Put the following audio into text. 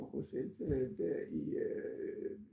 Fra Bruxelles øh der i øh